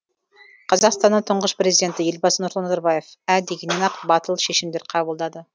қазақстанның тұңғыш президенті елбасы нұрсұлтан назарбаев ә дегеннен ақ батыл шешімдер қабылдады